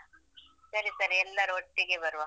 ಸರಿ ಸರಿ ಎಲ್ಲರು ಒಟ್ಟಿಗೆ ಬರುವ.